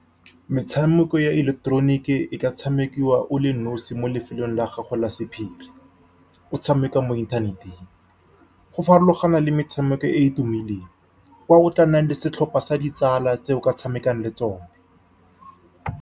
Metshameko ya ileketeroniki e ka tshamekiwa o le nosi mo lefelong la gago la sephiri. O ka tshameka mo inthaneteng, go farologana le metshameko e e tumileng, kwa o tla nnang le setlhopha sa ditsala tse o ka tshamekang le tsone.